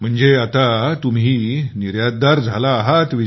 म्हणजे आता तुम्ही निर्यातदार झाला आहात